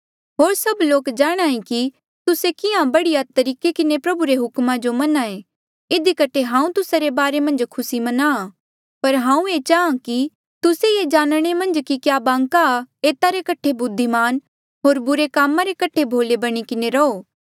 होर सभ लोक जाणांहे कि तुस्से किहां बढ़िया तरीके किन्हें प्रभु रे हुक्मा जो मन्ने इधी कठे हांऊँ तुस्सा रे बारे मन्झ खुसी म्नांहां पर हांऊँ ये चाहां कि तुस्से ये जाणने मन्झ कि क्या बांका एता रे कठे बुद्धिमान होर बुरे कामा रे कठे भोले बणी किन्हें रहो